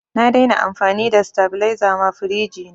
Na dai na amfani da sitabiliza ma firiji na